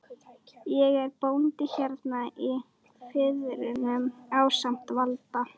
Ég er bóndi hérna í firðinum ásamt Valda